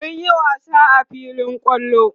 mun Yi wasa a filin kwallo